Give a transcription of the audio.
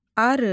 Arı.